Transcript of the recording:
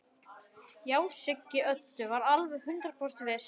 Já, Siggi Öddu var alveg hundrað prósent viss.